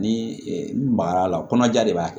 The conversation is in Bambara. Ni n magara a la kɔnɔja de b'a kɛ